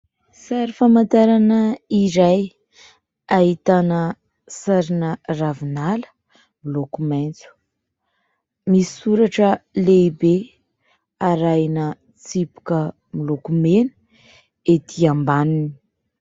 Sary famantarana iray ahitana sarina ravinala miloko maitso, misy soratra lehibe arahina tsipika miloko mena ety ambaniny.